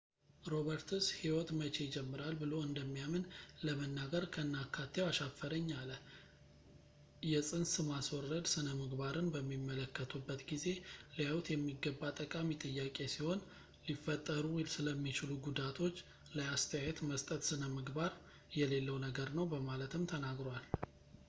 roberts ሕይወት መቼ ይጀምራል ብሎ እንደሚያምን ለመናገር ከነአካቴው አሻፈረኝ አለ የፅንስ ማስወረድ ስነምግባርን በሚመለከቱበት ጊዜ ሊያዩት የሚገባ ጠቃሚ ጥያቄ ሲሆን ሊፈጠሩ ስለሚችሉ ጉዳዮች ላይ አስተያየት መስጠት ስነምግባር የሌለው ነገር ነው በማለትም ተናግሯል